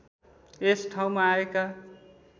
यस ठाउँमा आएका